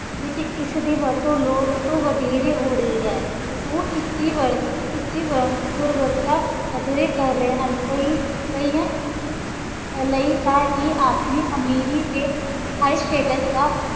ਵਿੱਚ ਇਸ ਦੀ ਵਰਤੋਂ ਲੋੜ ਤੋਂ ਵਧੇਰੇ ਹੋ ਰਹੀ ਹੈ, ਉਹ ਇਸ ਦੀ ਵਰ~ ਇਸਦੀ ਵ~ ਦੁਰਵਰਤਾ ਵਧੇਰੇ ਕਰ ਰਹੇ ਹਨ, ਕਈ ਕਈਆਂ ਲਈ ਤਾਂ ਇਹ ਆਪਣੀ ਅਮੀਰੀ ਤੇ high status ਦਾ